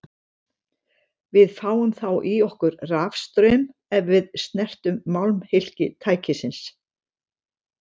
Við fáum þá í okkur rafstraum ef við snertum málmhylki tækisins.